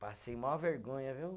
Passei maior vergonha, viu?